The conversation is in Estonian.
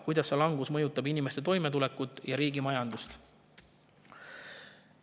Kuidas see langus mõjutab inimeste toimetulekut ja riigi majandust?